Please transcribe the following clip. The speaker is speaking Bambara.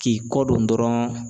K'i kɔdon dɔrɔn